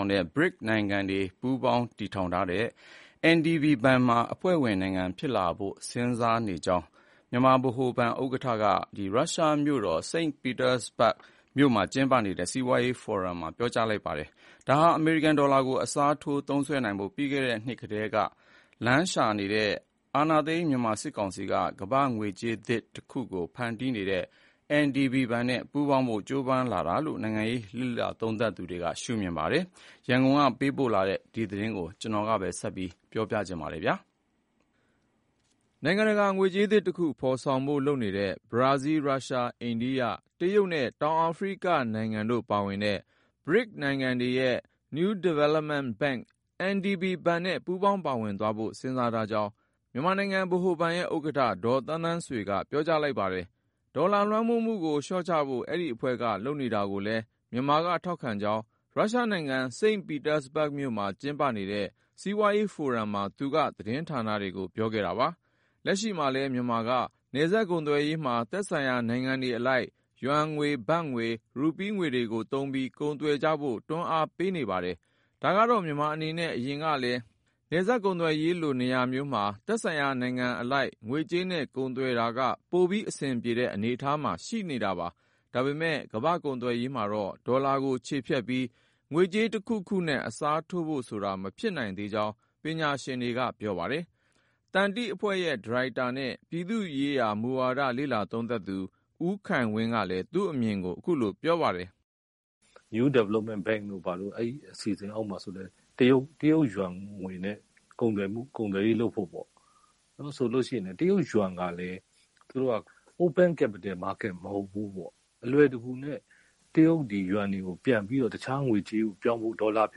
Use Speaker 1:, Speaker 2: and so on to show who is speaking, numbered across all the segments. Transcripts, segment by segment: Speaker 1: င်တဲ့ BRICS နိုင်ငံတွေ ပူးပေါင်းတည်ထောင်ထားတဲ့ NDB ဘဏ်မှာ အဖွဲ့ဝင်နိုင်ငံဖြစ်လာဖို့ စဉ်းစားနေကြောင်း မြန်မာနိုင်ငံဗဟိုဘဏ် ဥက္ကဋ္ဌက ရုရှားမြို့တော် စိန့်ပီတာစဘတ်မြို့မှာ ကျင်းပနေတဲ့ စီးပွားရေးဖိုရမ်မှာ ပြောကြားပါတယ်။ ဒါဟာ အမေရိကန်ဒေါ်လာကို အစားထိုး သုံးစွဲဖို့ ပြီးခဲ့တဲ့နှစ်ကတည်းက နည်းလမ်းရှာနေတဲ့ မြန်မာအာဏာသိမ်း စစ်တပ်က ကမ္ဘာ့ငွေကြေးသစ်တခုကို ဖန်တီးနေတဲ့ NDB ဘဏ်နဲ့ ပူးပေါင်းဖို့ ကြိုးပမ်းလာတာလို့ နိုင်ငံရေး လေ့လာသုံးသပ်သူတွေက ရှုမြင်ပါတယ်။ ရန်ကုန်ကပေးပို့လာတဲ့ ဒီသတင်းကိုတော့ ကိုဉာဏ်ဝင်းအောင်က ပြောပြမှာပါ။ နိုင်ငံတကာ ငွေကြေးသစ်တခု ဖော်ဆောင်ဖို့လုပ်နေတဲ့ ဘရာဇီးလ်၊ ရုရှား၊ အိန္ဒိယ၊ တရုတ်နဲ့ တောင်အာဖရိကတို့ပါဝင်တဲ့ - BRICS - နိုင်ငံတွေရဲ့ New Development Bank (NDB) ဘဏ်နဲ့ ပူးပေါင်းပါဝင်သွားဖို့ စဉ်းစားထားကြောင်း ဗဟိုဘဏ်ရဲ့ဥက္ကဋ္ဌ ဒေါ်သန်းသန်းဆွေက ပြောလိုက်တာပါ။ ဒေါ်လာ လွှမ်းမိုးမှုကို လျှော့ချဖို့ ဒီအဖွဲ့က လုပ်နေတာတွေကိုလည်း မြန်မာက ထောက်ခံကြောင်း ရုရှားနိုင်ငံ စိန့်ပီတာစဘတ်မြို့မှာ ကျင်းပနေတဲ့ စီးပွားရေးဖိုရမ်မှာ သူက သတင်းဌာနတွေကို ပြောခဲ့တာပါ။ လက်ရှိမှာလည်း မြန်မာက နယ်စပ်ကုန်သွယ်ရေးမှာ သက်ဆိုင်ရာနိုင်ငံတွေအလိုက် ယွမ်ငွေ၊ ဘတ်ငွေ၊ ရူးပီးငွေတွေကိုသုံးပြီး ကုန်သွယ်ကြဖို့ တွန်းအားပေးနေပါတယ်။ ဒါကတော့ မြန်မာအနေနဲ့ အရင်ကလည်း နယ်စပ်ကုန်သွယ်ရေးလို နေရာမျိုးမှာ သက်ဆိုင်ရာနိုင်ငံအလိုက် သူတို့ရဲ့ ငွေကြေးနဲ့ ကုန်သွယ်တာက ပိုပြီးအဆင်ပြေတဲ့ အနေအထားမှာ ရှိတာပါ။ ဒါပေမဲ့ ကမ္ဘာ့ကုန်သွယ်ရေးမှာတော့ ဒေါ်လာကို ချေဖျက်ပြီး ငွေကြေးတခုခုနဲ့ အစားထိုးဖို့ဆိုတာ မဖြစ်နိုင်သေးကြောင်း ပညာရှင်တွေက ပြောပါတယ်။ သန္တိအဖွဲ့ရဲ့ဒါရိုက်တာနဲ့ ပြည်သူ့ရေးရာမူဝါဒ လေ့လာသုံးသပ်သူ ဦးခိုင်ဝင်းက
Speaker 2: လည်း သူ့အမြင်ကို အခုလိုပြောပါတယ်။ " New Development Bank တို့ ဘာတို့ အဲဒီအစီအစဉ်အောက်မှာလည်း တရုတ်ယွမ်ငွေနဲ့ ကုန်သွယ်ရေးလုပ်ဖို့ပေါ့၊ တရုတ်ယွမ်ကလည်း သူတို့က open capital market မဟုတ်ဘူးပေါ့၊ အလွယ်တကူနဲ့ တရုတ်ယွမ်ငွေကို တခြားငွေကြေးကို ပြောင်းဖို့၊ ဒေါ်လာဖြ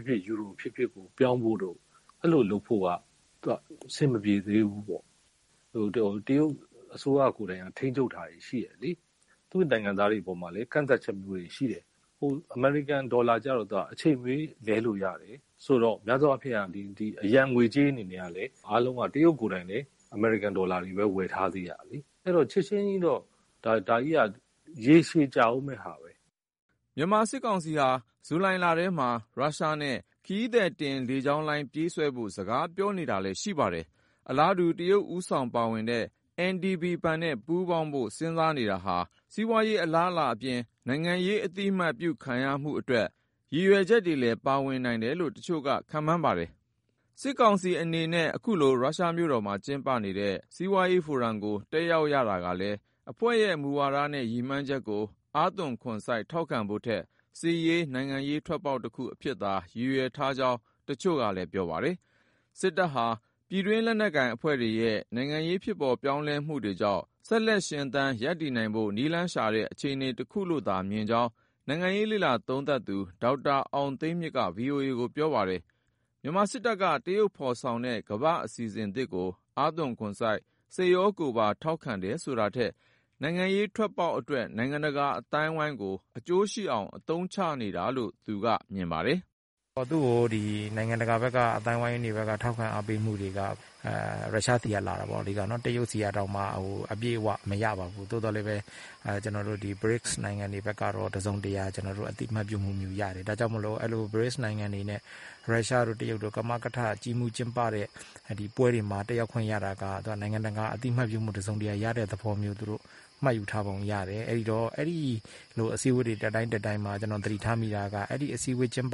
Speaker 2: စ်ဖြစ် ယူရိုဖြစ်ဖြစ် ပြောင်းဖို့တို့ အဲလိုလုပ်ဖို့က အဆင်မပြေသေးဘူးပေါ့။ တရုတ်အစိုးရ ကိုယ်တိုင်က ထိန်းချုပ်ထားတာတွေ ရှိတယ်လေ၊ သူ့ရဲ့နိုင်ငံသားတွေ အပေါ်မှာလည်း ကန့်သတ်ချက်တွေ ရှိတယ်။ အမေရိကန်ဒေါ်လာက အချိန်မရွေး လဲလို့ရတယ်ဆိုတော့ များသောအားဖြင့်က အရံငွေကြေးအနေနဲ့က အားလုံးက တရုတ်ကိုယ်တိုင်လည်း အမေရိကန်ဒေါ်လာတွေပဲ ဝယ်ထားသေးတာလေ။ အဲဒီတော့ ချက်ချင်းကြီးတော့ ဒါကြီးက ရေရှည် ကြာဦးမယ့်ဟာပဲ။
Speaker 1: " မြန်မာစစ်ကောင်စီဟာ ဇူလိုင်လထဲမှာ ရုရှားနဲ့ ခရီးသည်တင်လေကြောင်းလိုင်း ပြေးဆွဲဖို့ စကားပြောနေတာလည်း ရှိပါတယ်။ အလားတူ တရုတ်ဦးဆောင်ပါဝင်နေတဲ့ NDB ဘဏ်နဲ့ ပူးပေါင်းဖို့ စဉ်းစားနေတာဟာ စီးပွားရေး အလားအလာအပြင် နိုင်ငံရေး အသိအမှတ်ပြု ခံရဖို့အတွက် ရည်ရွယ်ချက်တွေလည်း ပါနိုင်တယ်လို့ တချို့က ခန့်မှန်းပါတယ်။ စစ်ကောင်စီအနေနဲ့ အခုလို ရုရှားမြို့တော်မှာ ကျင်းပတဲ့ စီးပွားရေးဖိုရမ်ကို တက်ရောက်ရတာကလည်း အဖွဲ့ရဲ့ မူဝါဒနဲ့ ရည်မှန်းချက်ကို အားသွန်ခွန်စိုက် ထောက်ခံဖို့ထက် စစ်ရေး၊ နိုင်ငံရေး ထွက်ပေါက်တခုအဖြစ်သာ ရည်ရွယ်ထားကြောင်း တချို့ကလည်း သုံးသပ်ပါတယ်။ စစ်တပ်ဟာ ပြည်တွင်း လက်နက်ကိုင်အဖွဲ့တွေရဲ့ နိုင်ငံရေး ဖြစ်ပေါ်ပြောင်းလဲမှုတွေကြောင့် ဆက်လက်ရှင်သန် ရပ်တည်နိုင်ဖို့ နည်းလမ်းရှာတဲ့ အခြေအနေ တခုလို့သာမြင်ကြောင်း နိုင်ငံရေး လေ့လာသုံးသပ်သူ ဒေါက်တာအောင်သိန်းမြင့်က ဗွီအိုအေကို ပြောပါတယ်။ မြန်မာစစ်တပ်က တရုတ်ဖော်ဆောင်တဲ့ ကမ္ဘာ့အစီစဉ်သစ်ကို အားသွန်ခွန်စိုက်၊ စိတ်ရောကိုယ်ပါ ထောက်ခံတယ်ဆိုတာထက် နိုင်ငံရေးထွက်ပေါက်အတွက် နိုင်ငံတကာ အသိုင်းအဝန်းကို အကျိုးရှိအောင် အသုံးချနေတာလို့ သူကမြင်ပါတယ်။
Speaker 3: " နိုင်ငံတကာ အသိုင်းအဝန်းတွေဘက်က ထောက်ခံအားပေးမှုတွေက ရုရှားဆီကနေ လာတယ်ပေါ့လေ။ အဓိက တရုတ်ဆီကတောင် အပြည့်အဝ မရပါဘူး။ သို့သော်လည်းပဲ ဒီ BRICS နိုင်ငံတွေဆီက တစုံတရာ အသိအမှတ်ပြုမှုမျိုး ရတယ်။ ဒါကြောင့်မို့ BRICS နိုင်ငံတွေနဲ့ ရုရှားတို့ တရုတ်တို့ ကမကထ ကြီးမှူးကျင်းပတဲ့ ပွဲတွေမှာ တက်ရောက်ခွင့်ရတာက နိုင်ငံတကာ အသိအမှတ်ပြုမှု ရတဲ့သဘောမျိုး မှတ်ယူထားပုံရတယ်။ အဲလို အစည်းအဝေးတွေ တက်တိုင်းတက်တိုင်းမှာ သတိထားမိတာက အစည်းအဝေးရဲ့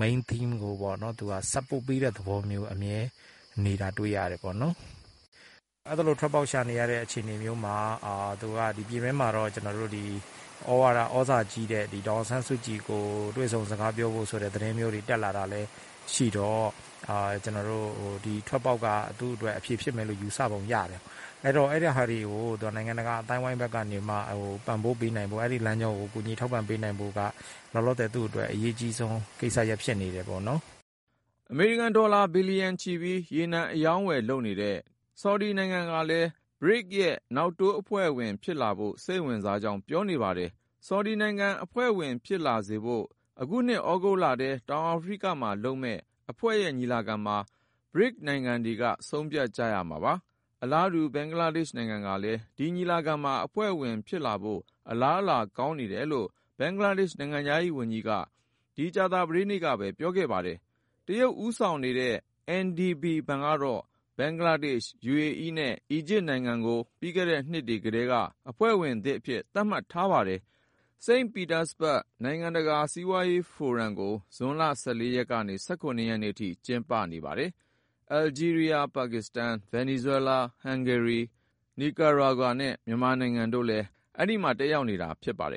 Speaker 3: main theme ကို သူက support (ထောက်ခံတဲ့) သဘောမျိုး အမြဲနေတာ တွေ့ရတယ်။ အဲလို ထွက်ပေါက်ရှာနေတဲ့ အခြေအနေမျိုးမှာ ပြည်တွင်းမှာတော့ ဩဇာကြီးတဲ့ ဒေါ်အောင်ဆန်းစုကြည်ကို တွေ့ဆုံစကားပြောဖို့ဆိုတဲ့ သတင်းမျိုးတွေ တက်လာတာလည်း ရှိတော့ ထွက်ပေါက်က သူ့အတွက် အဖြေ ဖြစ်မယ်လို့ ယူဆပုံရတယ်။ အဲဒါတွေကို နိုင်ငံတကာ အသိုင်းအဝိုင်းတွေဘက်က ပံ့ပိုးပေးနိုင်ဖို့၊ ကူညီထောက်ပံပေးနိုင်ဖို့က သူ့အတွက် အရေးအကြီးဆုံး ကိစ္စရပ်ဖြစ်နေတယ်။
Speaker 1: " အမေရိကန်ဒေါ်လာ ဘီလီယံချီပြီး ရေနံအရောင်းအဝယ်လုပ်နေတဲ့ ဆော်ဒီနိုင်ငံကလည်း BRICS ရဲ့ နောက်တိုး အဖွဲ့ဝင်ဖြစ်လာဖို့ စိတ်ဝင်စားကြောင်း ပြောနေပါတယ်။ ဆော်ဒီနိုင်ငံကို အဖွဲ့ဝင်ဖြစ်လာဖို့ အခုနှစ် ဩဂုတ်လ၊ တောင်အာဖရိကမှာလုပ်မယ့် အဖွဲ့ရဲ့ ညီလာခံမှာ BRICS နိုင်ငံတွေက ဆုံးဖြတ်ကြမှာပါ။ အလားတူ ဘင်္ဂလားဒေ့ရှ်ကလည်း ဒီညီလာခံမှာ အဖွဲ့ဝင်ဖြစ်လာဖို့ အလားအလာ ကောင်းနေတယ်လို့ ဘင်္ဂလားဒေ့ရှ်နိုင်ငံခြားရေးဝန်ကြီးက အခု ကြာသပတေးနေ့က ပြောခဲ့တာပါ။ တရုတ်ဦးဆောင်နေတဲ့ NDB ဘဏ်ကတော့ ဘင်္ဂလားဒေ့ရှ်၊ ယူအေအီးနဲ့ အီဂျစ်နိုင်ငံတွေကို ပြီးခဲ့တဲ့နှစ်တွေကတည်းက အဖွဲ့ဝင်သစ်အဖြစ် သတ်မှတ်ထားပါတယ်။ စိန့်ပီတာစဘတ် နိုင်ငံတကာ စီးပွားရေးဖိုရမ် (SPIEF)ကို ဇွန်လ ၁၄ ရက်ကနေ ၁၇ ရက်အထိ ကျင်းပနေတာပါ။ အယ်ဂျီးရီးယား၊ ပါကစ္စတန်၊ ဗင်နီဇွဲလား၊ ဟန်ဂေရီ၊ နီကာရာဂွာ (Nicaragua) နဲ့ မြန်မာနိုင်ငံတို့လည်း တက်ရောက်နေတာ ဖြစ်ပါတယ်